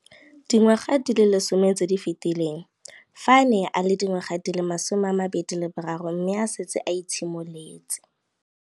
Dingwaga di le 10 tse di fetileng, fa a ne a le dingwaga di le 23 mme a setse a itshimoletse